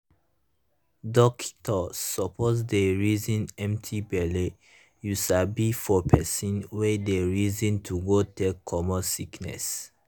dockito suppos dey reson empti belle u sabi for pesin wey dey reson to go take comot sickiness